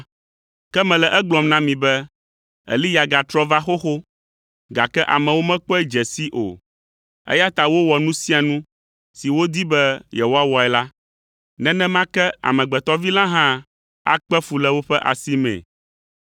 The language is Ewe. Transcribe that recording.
Ke mele egblɔm na mi be, Eliya gatrɔ va xoxo, gake amewo mekpɔe dze sii o, eya ta wowɔ nu sia nu si wodi be yewoawɔe la. Nenema ke Amegbetɔ Vi la hã akpe fu le woƒe asimee.”